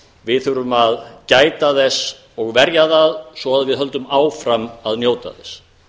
við þurfum að gæta þess og verja það svo við höldum áfram að njóta þess